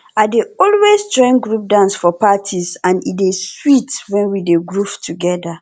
i dey always join group dance for parties e dey sweet when we dey groove together